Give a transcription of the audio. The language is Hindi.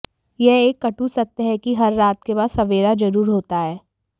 यह एक कटु सत्य है कि हर रात के बाद सवेरा जरूर होता है